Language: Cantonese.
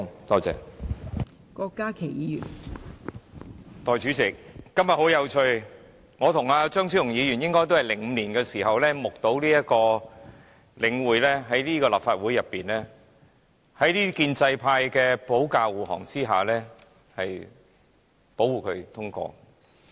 代理主席，今天十分有趣，我和張超雄議員應該也是在2005年時，目睹領匯房地產投資信託基金)在這個立法會的建制派保駕護航下獲得通過。